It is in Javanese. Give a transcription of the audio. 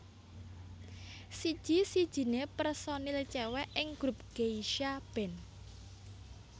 Siji sijine personil cewek ing grup Geisha band